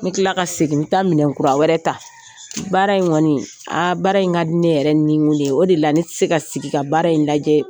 N bɛ tila ka segin mi taa minɛnkura wɛrɛ ta. Baara in kɔni, aa baara in ka di ne yɛrɛ nin kun ye, o de la ne tɛ se ka sigi ka baara in lajɛ.